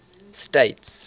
states